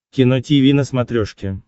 кино тиви на смотрешке